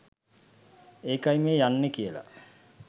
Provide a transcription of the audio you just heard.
ඒකයි මේ යන්නේ කියලා